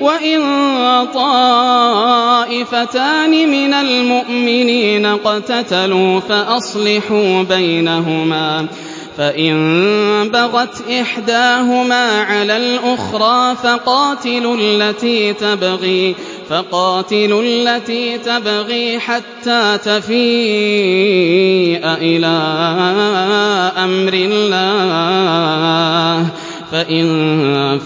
وَإِن طَائِفَتَانِ مِنَ الْمُؤْمِنِينَ اقْتَتَلُوا فَأَصْلِحُوا بَيْنَهُمَا ۖ فَإِن بَغَتْ إِحْدَاهُمَا عَلَى الْأُخْرَىٰ فَقَاتِلُوا الَّتِي تَبْغِي حَتَّىٰ تَفِيءَ إِلَىٰ أَمْرِ اللَّهِ ۚ فَإِن